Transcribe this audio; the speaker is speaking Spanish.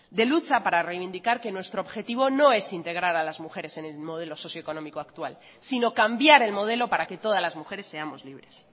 de lucha para reivindicar que nuestro objetivo no es integrar a las mujeres en el modelo socioeconómico actual sino cambiar el modelo para que todas las mujeres seamos libres